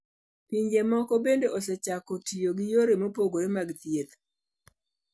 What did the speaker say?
Pinje moko bende osechako tiyo gi yore mopogore mag thieth.